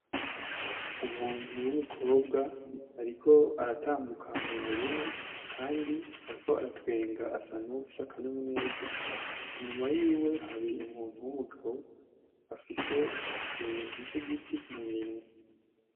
Umuntu w'umukobwa ariko aratambuka mu murima kandi ariko aratwenga asa nkuwufise akanyamuneza, nyuma yiwe hari umuntu w'umugabo afise ikintu c'igiti mu minwe.